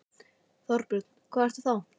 Þorbjörn: Hvað ertu þá?